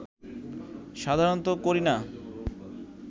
সাধারনত করি না